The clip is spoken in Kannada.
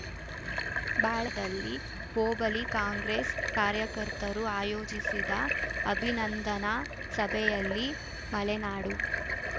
ಬಾಳೆದಲ್ಲಿ ಹೋಬಳಿ ಕಾಂಗ್ರೆಸ್‌ ಕಾರ್ಯಕರ್ತರು ಆಯೋಜಿಸಿದ ಅಭಿನಂದನಾ ಸಭೆಯಲ್ಲಿ ಮಲೆನಾಡು